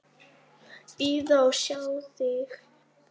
Bíða og sjá til.